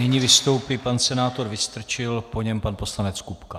Nyní vystoupí pan senátor Vystrčil, po něm pan poslanec Kupka.